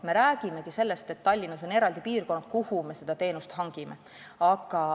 Me räägimegi sellest, et Tallinnas on eraldi piirkonnad, kuhu me seda teenust hangime.